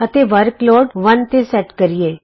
ਅਤੇ ਵਰਕਲੋਡ 1 ਤੇ ਸੇਟ ਕਰੀਏ